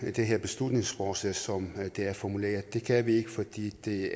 det her beslutningsforslag som det er formuleret det kan vi ikke fordi det